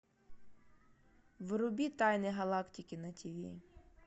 вруби тайны галактики на тиви